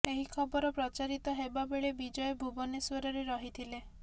ଏହି ଖବର ପ୍ରଚାରିତ ହେବା ବେଳେ ବିଜୟ ଭୁବନେଶ୍ୱରରେ ରହିଥିଲେ